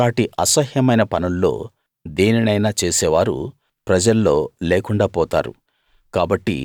అలాటి అసహ్యమైన పనుల్లో దేనినైనా చేసేవారు ప్రజల్లో లేకుండా పోతారు